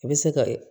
I bɛ se ka